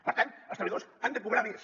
per tant els treballadors han de cobrar més